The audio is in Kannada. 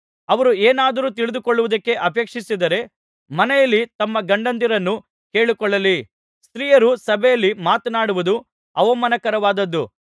ಅವರು ಏನಾದರೂ ತಿಳಿದು ಕೊಳ್ಳುವುದಕ್ಕೆ ಅಪೇಕ್ಷಿಸಿದರೆ ಮನೆಯಲ್ಲಿ ತಮ್ಮ ಗಂಡಂದಿರನ್ನು ಕೇಳಿಕೊಳ್ಳಲಿ ಸ್ತ್ರೀಯರು ಸಭೆಯಲ್ಲಿ ಮಾತನಾಡುವುದು ಅಪಮಾನಕರವಾದದ್ದು